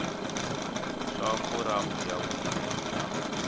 swa foramu ya vuyimeri bya